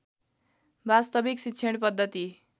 वास्तविक शिक्षण पद्धति